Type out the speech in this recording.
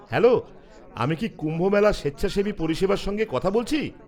-Hello, আমি কি কুম্ভমেলা স্বেচ্ছাসেবী পরিষেবার সঙ্গে কথা বলছি?